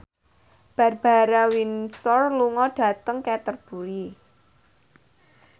Barbara Windsor lunga dhateng Canterbury